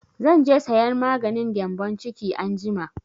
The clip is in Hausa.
Zan je sayan maganin gyambon ciki anjima